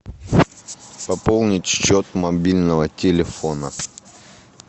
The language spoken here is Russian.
пополнить счет мобильного телефона